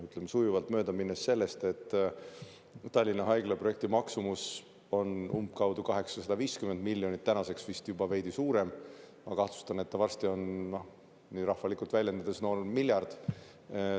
Ütleme, sujuvalt mööda minnes, Tallinna Haigla projekti maksumus on umbkaudu 850 miljonit, nüüdseks vist juba veidi suurem – ma kahtlustan, et varsti on see, nii rahvalikult väljendudes, miljard.